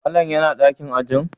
Malam yana dakin ajin?